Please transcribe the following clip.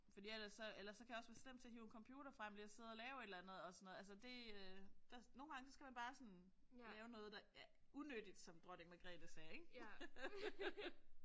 Fordi ellers så ellers så kan jeg også være slem til at hive en computer frem lige og sidde og lave et eller andet og sådan noget. Altså det øh der nogle gange skal man bare lave noget der er unyttigt som Dronning Margrethe sagde ik